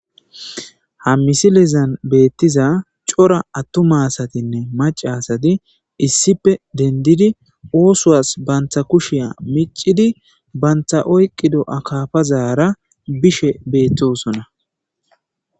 ha misilizan beettiza cora attuma asatinne macasati issippe dendidi oosowas bantha kushiya micidi bantha oyqqido akafazara bishe beettosonna